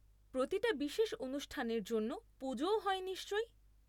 প্রতিটা বিশেষ অনুষ্ঠানের জন্য পুজোও হয় নিশ্চয়ই?